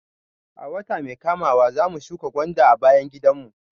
A wata mai kamawa zamu shuka gwanda a bayan gidan mu